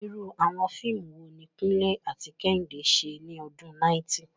Irú àwọn fíìmù wo ni Kunle àti Kehinde ṣe ní ọdún 90?